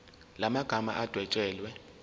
la magama adwetshelwe